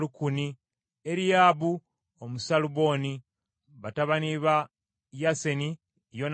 ne Eriyaba Omusaaluboni, batabani ba Yaseni, Yonasaani,